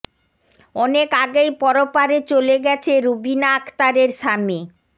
অনেক আগেই পরপারে চলে গেছে রুবিনা আক্তারের স্বামী